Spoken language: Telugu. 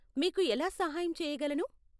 మీకు ఎలా సహాయం చెయ్యగలను?